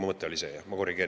Mu mõte oli see, ma korrigeerin.